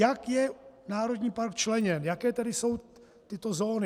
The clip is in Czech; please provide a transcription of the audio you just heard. Jak je národní park členěn, jaké tedy jsou tyto zóny?